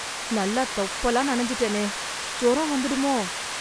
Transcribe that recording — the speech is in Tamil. நல்லா தொப்பலா நனைஞ்சுட்டேனே! ஜொரம் வந்துடுமோ!